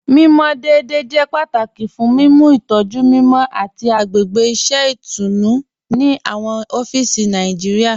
Mimọ deẹ̀dẹ̀ jẹ́ pátàkì fún mímú ìtọ̀jú mímọ àti agbègbè iṣẹ̀ itùnú ni awọn ọ̀fíìsì Nàìjíríà.